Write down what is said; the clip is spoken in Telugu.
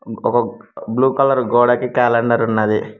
ఒక బ్లూ కలర్ గోడకి క్యాలెండర్ ఉన్నది.